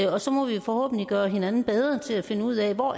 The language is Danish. og så må vi forhåbentlig gøre hinanden bedre til at finde ud af hvor